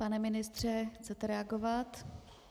Pane ministře, chcete reagovat?